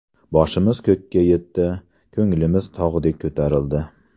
Boshimiz ko‘kka yetdi, ko‘nglimiz tog‘dek ko‘tarildi.